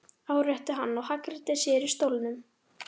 árétti hann og hagræddi sér í stólnum.